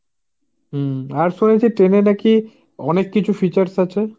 হাঁ আর শুনেছি ট্রেনে নাকি অনেককিছু features আছে।